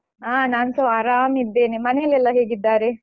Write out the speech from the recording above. ಹಾ ನಾನ್ಸ ಆರಾಮ್ ಇದ್ದೇನೆ ಮನೇಲೆಲ್ಲ ಹೇಗಿದ್ದಾರೆ?